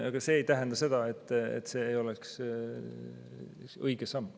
Aga see ei tähenda seda, et see ei oleks õige samm.